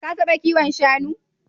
Ka taɓa kiwon shanu?